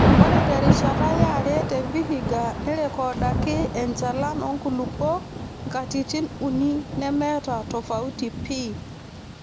Ore terishata yare te Vihiga nerrekodaki enchalan oonkulupuok katitin uni nemeeta tofauti pii.